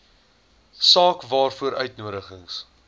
saak waaroor uitnodigings